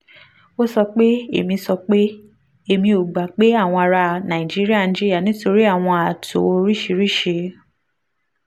ó sọ pé: èmi sọ pé: èmi ò gbà pé àwọn ará nàìjíríà ń jìyà nítorí àwọn ààtò oríṣiríṣi